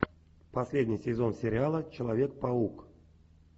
последний сезон сериала человек паук